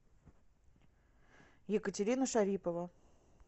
екатерина шарипова